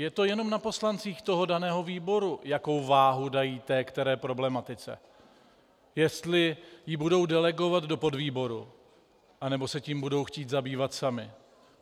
Je to jenom na poslancích toho daného výboru, jakou váhu dají té které problematice, jestli ji budou delegovat do podvýboru, anebo se tím budou chtít zabývat sami.